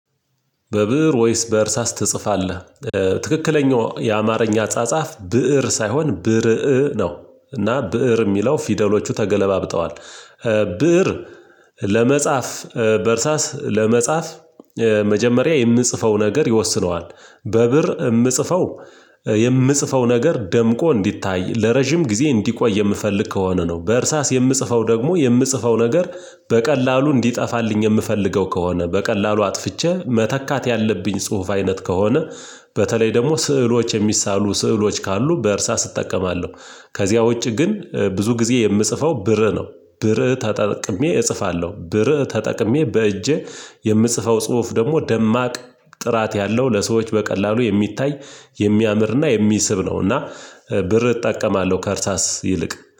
በብእር ወይስ በእርሳስ ትጽፋለህ? ትክክለኛው የአማርኛ ጻጻፍ ብእር ሳይሆን ብርእ ነው እና ብእር የሚለው ፊደሎቹ ተገላብጠዋል። ብእር ለመጻፍ በእርሳስ ለመጻፍ መጀመሪያ የምጽፈው ነገር ይወስነዋል። በርእ የምጽፈው የምጽፈው ነገር ደምቆ እንዲታይ ለረጅም ጊዜ እንዲቆይ የምፈልግ ከሆነ ነው በእርሳስ የምጽፈው ደግሞ የምጽፈው ነገር በቀላሉ እንዲጠፋልኝ የምፈልገው ከሆነ በቀላሉ አጥፍቼ መተካት ያለብኝ ጽሁፍ አይነት ከሆነ በተለይ ደግሞ ስዕሎች የሚሳሉ ስዕሎች ካሉ በእርሳስ እጠቀማለሁ። ከዚያ ውጪ ግን ብዙ ጊዜ የምጽፈው ብርእ ነው ብርእ ተጠቅሜ እጽፋለሁ ብርእ ተጠቅሜ በእጄ የምጽፈው ጽሁፍ ደግሞ ደማቅ ጥራት ያለው ለሰዎች በቀላሉ የሚታይ የሚያምርና የሚስብ ነው እና ብርእ እጠቀማለሁ ከእርሳስ ይልቅ